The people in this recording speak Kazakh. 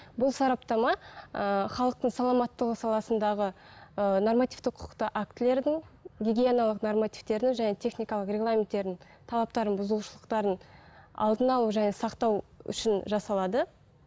бұл сараптама ыыы халықтың саламаттығы саласындағы ыыы нормативтік құқықты актілердің гигиеналық нормативтердің және техникалық регламенттердің талаптарын бұзушылықтарын алдын алу және сақтау үшін жасалады